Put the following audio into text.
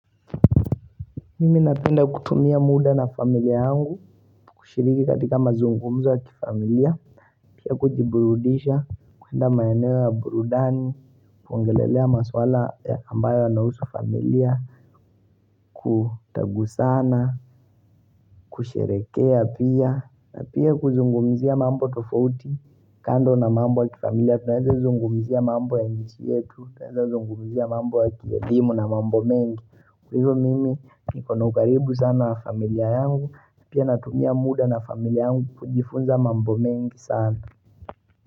Mimi napenda kutumia muda na familia yangu kushiriki katika mazungumzo ya kifamilia, pia kujiburudisha, kuenda maeneo ya burudani, kuongelelea maswala ambayo yanahusu familia Kutagusana, kusherehekea pia na pia kuzungumizia mambo tofauti kando na mambo ya kifamilia tunaweza zungumzia mambo ya nchi yetu, tunaweza zungumizia mambo ya kielimu na mambo mengi, hivyo mimi niko na ukaribu sana na familia yangu, na pia natumia muda na familia yangu kujifunza mambo mengi sana.